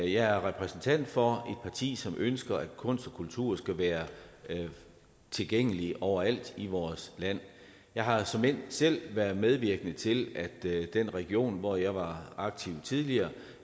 jeg er repræsentant for parti som ønsker at kunst og kultur skal være tilgængeligt overalt i vores land jeg har såmænd selv været medvirkende til at vi i den region hvor jeg var aktiv tidligere